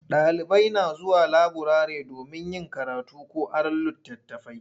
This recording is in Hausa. Ɗalibai na zuwa laburare domin yin karatu ko aron litattafai.